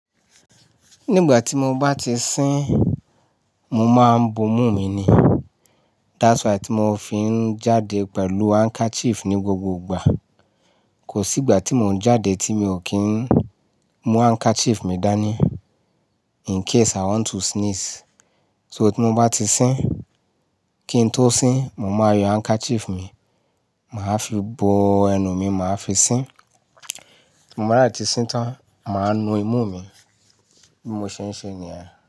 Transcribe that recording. Nígbà tí mo bá ti sín, mo máa ń bo imú mi ni. That's why tí mo fi ń jáde pẹ̀lú handkerchief ní gbogbo ìgbà. Kò sí ìgbà tí mò ń jáde tí mi ò kí ń mú handkerchief mi dání in case I want to sneeze. So tí mo bá ti sín, kí n tó sín, mo máa yọ handkerchief mi, màá fi bo ẹnu mi, màá fi sín. Mo máa dẹ̀ tí sín tán, màá nu imú mi bí mo ṣe ń ṣe ní èyà.